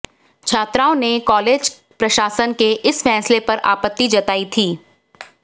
छात्राओं ने कॉलेज प्रशासन के इस फैसले पर आपत्ति जताई थी